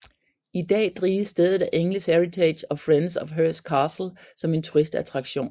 I dag drives stedet af English Heritage og Friends of Hurst Castle som en turistattraktion